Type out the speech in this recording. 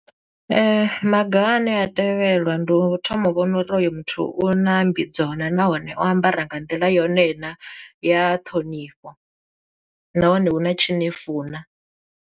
Maga ane a tevhelwa ndi u thoma u vhona uri hoyo muthu u na mmbidzo na nahone o ambara nga nḓila yone na ya ṱhonifho, nahone u na tshi nefu na.